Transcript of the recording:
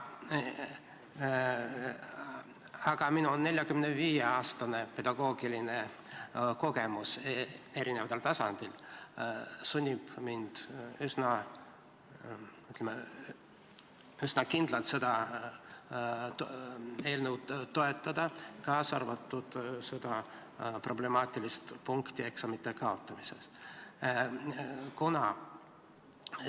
Aga minu 45-aastane erinevatel tasanditel saadud pedagoogiline kogemus sunnib mind üsna kindlalt seda eelnõu toetama, kaasa arvatud seda problemaatilist eksamite kaotamisega seotud punkti.